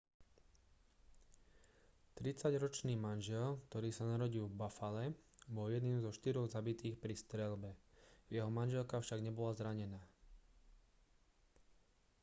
tridsaťročný manžel ktorý sa narodil v buffale bol jedným zo štyroch zabitých pri streľbe jeho manželka však nebola zranená